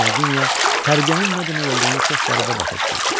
Knyaginya tərbiyənin nə demək olduğunu çox qəribə başa düşürdü.